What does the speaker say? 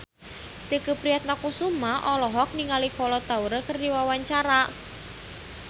Tike Priatnakusuma olohok ningali Kolo Taure keur diwawancara